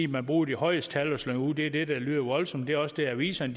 man bruger de højeste tal til at slynge ud det er det der lyder voldsomst det er også det aviserne